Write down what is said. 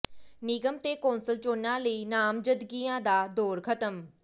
ਨਿਗਮ ਤੇ ਕੌਂਸਲ ਚੋਣਾਂ ਲਈ ਨਾਮਜ਼ਦਗੀਆਂ ਦਾ ਦੌਰ ਖ਼ਤਮ